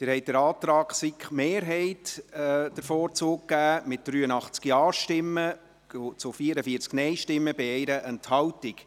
Sie haben dem Antrag der SiK-Mehrheit den Vorzug gegeben, mit 83 Ja- zu 44 Nein-Stimmen bei 1 Enthaltung.